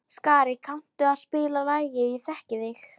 Skari, kanntu að spila lagið „Ég þekki þig“?